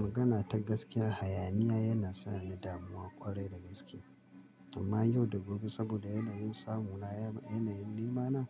Magana ta gaskiya hayaniya yana sa ni damuwa ƙwarai da gaske. Amma yau da gobe saboda yanayin samu na, yanayin nema na,